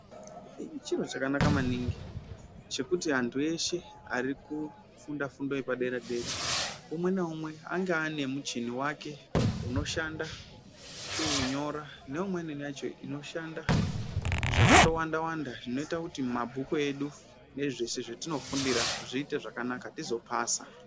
Chiro chakanaka maningi chekuti antu ese arikufunda fundo yepadera dera umweni naumwe ange anemuchini wake unoshanda kunyora neimweni wacho unoshanda zvakando wanda wanda zvinoita kuti mabhuku edu ezveshe nezvatino fundira zviite zvakanaka tizopasa.